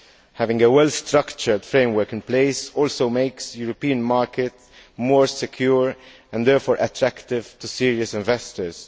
Having a well structured framework in place also makes the European market more secure and, therefore, attractive to serious investors.